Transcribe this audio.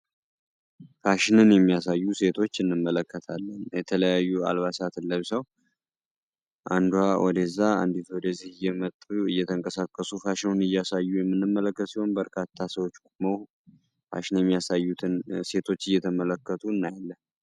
ፋሽንን የሚያሳዩ ሴቶች እንመለከታለን። የተለያዩ አልባሳትን ለብሰው አንዷ ወደዛ አንዲቱ ወደዚህ እየመጡ እየተንቀሳቀሱ ፋሽኑን እያሳዩ የምንመለከት ሲሆን፤ በርካታ ሰዎች ቆመው በርካታ ሰዎች ቆመው ፋሽን የሚያሳዩትን ሴቶች እየተመለከቱ እናያለን።